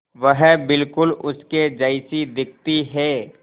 वह बिल्कुल उसके जैसी दिखती है